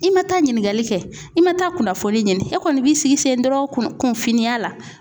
I ma taa ɲininGali kɛ, i ma taa kunnafoni ɲini, e kɔni b'i sigi sen dɔrɔn kunfinniya la .